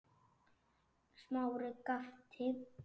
Smári gapti.